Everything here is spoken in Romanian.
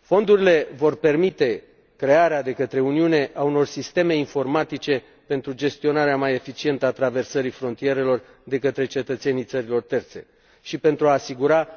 Fondurile vor permite crearea de către Uniune a unor sisteme informatice pentru gestionarea mai eficientă a traversării frontierelor de către cetățenii țărilor terțe și pentru a asigura